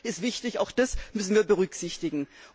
Auch das ist wichtig, auch das müssen wir berücksichtigen.